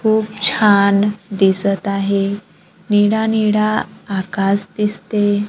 खूप छान दिसत आहे निडा निडा आकाश दिसते.